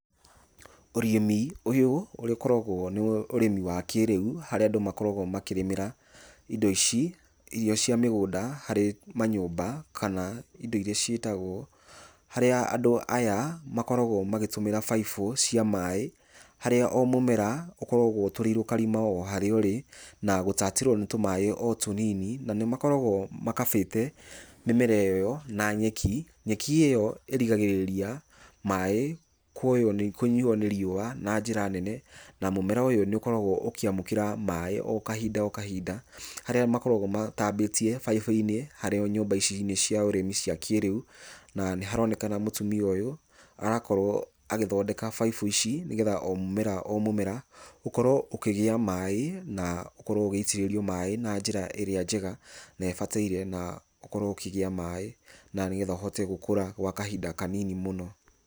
Ũrĩmi ũyũ ũrĩa ũkoragwo nĩ ũrĩmi wa kĩrĩu harĩa andũ makoragwo makĩrĩmĩra indo ici, irio cia mĩgũnda harĩ manyũmba kana indo iria ciitagwo, harĩa andũ aya makoragwo magĩtũmĩra baibũ cia maĩĩ harĩa o mũmera ũkoragwo ũtũrĩirwo karima o harĩa ũrĩ na gũtatĩrwo nĩ tũmaĩĩ o tũnini, na nĩ makoragwo makabĩte mĩmera ĩyo na nyeki. Nyeki ĩyo ĩrigagĩrĩria maĩ kũnyuo nĩ riũa na njĩra nene, na mũmera ũyũ nĩ ũkoragwo ũkĩamũkĩra maĩ o kahinda kahinda, harĩa makoragwo matambĩtie baibũ-inĩ harĩa nyũmba ici cia ũrĩmi cia kĩĩrĩu na nĩharonekana mũtumia ũyũ, arakorwo agĩthondeka baibũ ici nĩgetha o mũmera o mũmera ũkorwo ũkĩgĩa maĩ, na ũkorwo ũgĩitĩrĩrio maĩ na njĩra ĩrĩa njega na ĩbataire na ũkorwo ũkĩgĩa maĩ na nĩgetha ũhote gũkũra gwa kahinda kanini mũno.